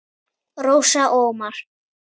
Rósa og Ómar.